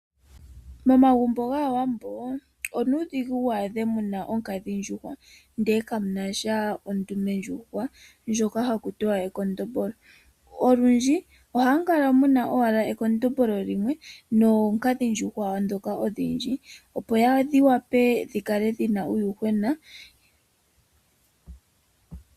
Momagumbo gAawambo onuudhigu wu adhe muna onkadhi ndjuhwa ndele kamunasha ondume ndjuhwa ndjoka hakutiwa ekondombolo . Olundji ohamu kala owala muna ekondombolo limwe noonkadhi ndjuhwa ndhoka odhindji opo dhi wape dhikale dhina uuyuhwena